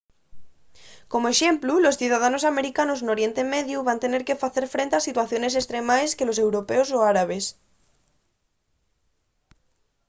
como exemplu los ciudadanos americanos n’oriente mediu van tener que facer frente a situaciones estremaes que los europeos o árabes